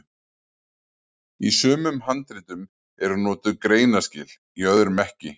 Í sumum handritum eru notuð greinaskil, í öðrum ekki.